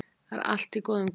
Það er allt í góðum gír